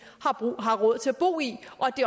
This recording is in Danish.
har råd til at bo i